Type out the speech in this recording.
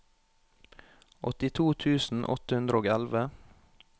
åttito tusen åtte hundre og elleve